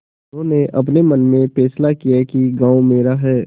उन्होंने अपने मन में फैसला किया कि गॉँव मेरा है